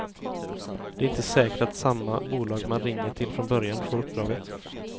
Det är inte säkert att samma bolag man ringde till från början får uppdraget.